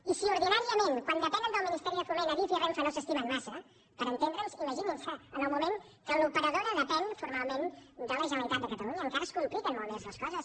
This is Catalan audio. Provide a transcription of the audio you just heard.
i si ordinàriament quan depenen del ministeri de foment adif i renfe no s’estimen massa per entendre’ns imaginin se en el moment que l’operadora depèn formalment de la generalitat de catalunya encara es compliquen molt més les coses